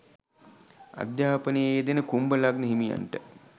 අධ්‍යාපනයේ යෙදෙන කුම්භ ලග්න හිමියන්ට